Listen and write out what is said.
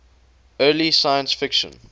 early science fiction